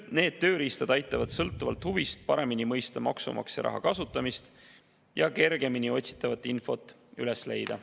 Need tööriistad aitavad sõltuvalt huvist paremini mõista maksumaksja raha kasutamist ja otsitavat infot kergemini üles leida.